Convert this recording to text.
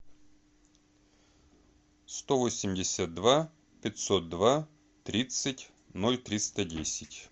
сто восемьдесят два пятьсот два тридцать ноль триста десять